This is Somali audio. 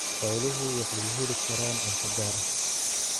Xooluhu waxay heli karaan cunto gaar ah.